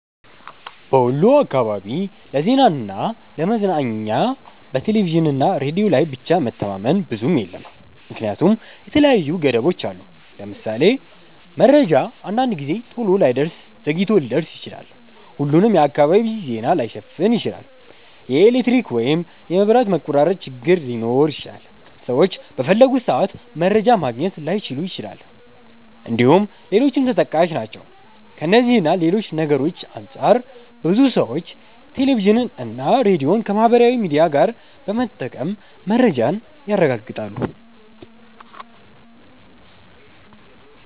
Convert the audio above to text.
በወሎ አካባቢ ለዜናና ለ ለመዝናኛ በቴሌቪዥንና ሬዲዮ ላይ ብቻ መተማመን ብዙም የለም ምክንያቱም የተለያዩ ገደቦች አሉት። ለምሳሌ:- መረጃ አንዳንድ ጊዜ ቶሎ ላይደርስ ዘግይቶ ሊደርስ ይችላል፣፣ ሁሉንም የአካባቢ ዜና ላይሸፍን ይችላል፣ የኤሌክትሪክ ወይም የመብራት መቆራረጥ ችግር ሊኖር ይችላል፣ ሰዎች በፈለጉት ሰአት መረጃ ማግኘት ላይችሉ ይችላል እንድሁም ሌሎችም ተጠቃሽ ናቸው። ከእነዚህ እና ሌሎች ነገርሮች አንፃር ብዙ ሰዎች ቴሌቪዥንና ሬዲዮን ከማህበራዊ ሚዲያ ጋር በመጠቀም መረጃን ያረጋግጣሉ።